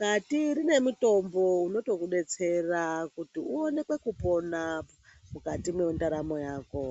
kati rinemutombo unotokudetsera kuti uonekupona mukati mendaramo mako.